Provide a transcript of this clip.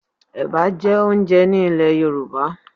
Ẹ̀bà jẹ́ oúnjẹ ní ilè Yorùbá.